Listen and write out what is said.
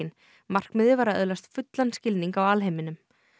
markmiðið var að öðlast fullan skilning á alheiminum